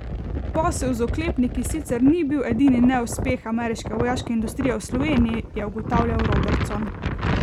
Posel z oklepniki sicer ni bil edini neuspeh ameriške vojaške industrije v Sloveniji, je ugotavljal Robertson.